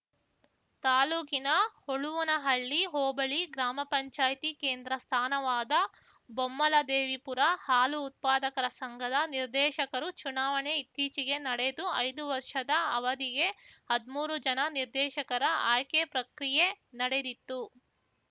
ತಾಲ್ಲೂಕಿನ ಹೊಳುವನಹಳ್ಳಿ ಹೋಬಳಿ ಗ್ರಾಮಪಂಚಾಯ್ತಿ ಕೇಂದ್ರ ಸ್ಥಾನವಾದ ಬೊಮ್ಮಲದೇವಿಪುರ ಹಾಲು ಉತ್ಪಾದಕರ ಸಂಘದ ನಿರ್ದೇಶಕರು ಚುನಾವಣೆ ಇತ್ತೀಚೆಗೆ ನಡೆದು ಐದು ವರ್ಷದ ಅವಧಿಗೆ ಹದ್ಮೂರು ಜನ ನಿರ್ದೇಶಕರ ಆಯ್ಕೆ ಪ್ರಕ್ರಿಯೆ ನಡೆದಿತ್ತು